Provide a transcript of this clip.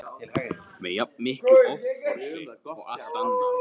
með jafn miklu offorsi og allt annað.